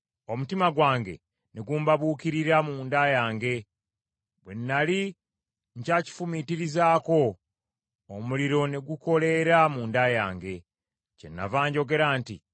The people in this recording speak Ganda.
Omutima gwange ne gumbabuukirira munda yange. Bwe nnali nkyakifumiitirizaako, omuliro ne gukoleera munda yange; kyenava njogera nti: